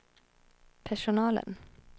personalen